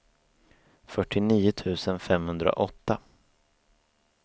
fyrtionio tusen femhundraåtta